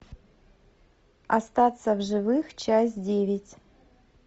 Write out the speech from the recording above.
остаться в живых часть девять